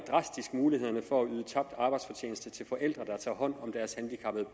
muligheden for at yde tabt arbejdsfortjeneste til forældre der tager hånd om deres handicappede